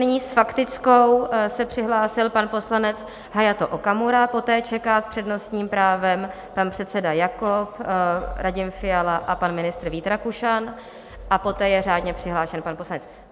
Nyní s faktickou se přihlásil pan poslanec Hayato Okamura, poté čeká s přednostním právem pan předseda Jakob, Radim Fiala a pan ministr Vít Rakušan a poté je řádně přihlášen pan poslanec.